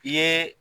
I ye